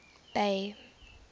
bay